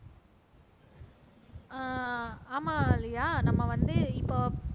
ஆஹ் ஆமா லியா நம்ம வந்து இப்போ